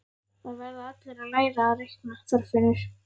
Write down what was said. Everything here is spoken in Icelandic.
Það verða allir að læra að reikna, Þorfinnur